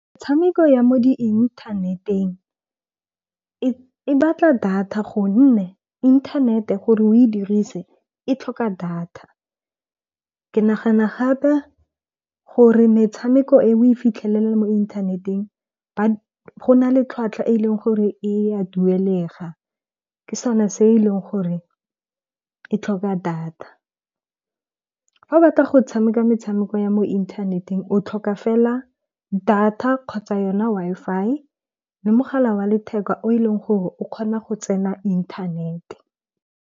Tshameko ya mo di-inthaneteng e batla data gonne inthanete gore o e dirise e tlhoka data. Ke nagana gape gore metshameko e o e fitlhelela mo inthaneteng, go na le tlhwatlhwa e e leng gore e a duelega. Ke sone se e leng gore e tlhoka data. Fa o batla go tshameka metshameko ya mo inthaneteng o tlhoka fela data, kgotsa yona Wi-Fi le mogala wa letheka o eleng gore o kgona go tsena inthanete.